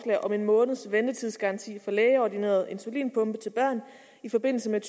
om en måneds ventetidsgaranti for lægeordineret insulinpumpe til børn i forbindelse med